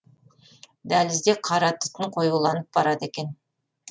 дәлізде қара түтін қоюланып барады екен